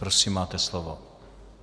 Prosím, máte slovo.